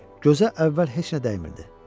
Gözə əvvəl heç nə dəymirdi.